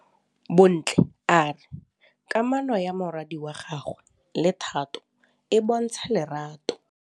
Bontle a re kamanô ya morwadi wa gagwe le Thato e bontsha lerato.